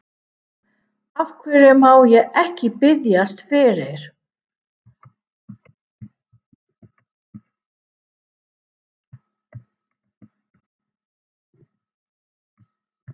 Af hverju má ég ekki biðjast fyrir?